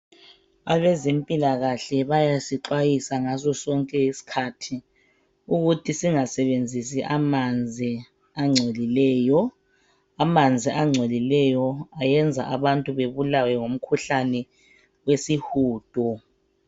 Abezempilakahle bayasixhayisa ngaso sonke isikhathi ukuthi singasebenzisi amanzi engcolileyo. Amanzi engcolileyo ayenza abantu bebulawe ngumkhuhlane wesihudo.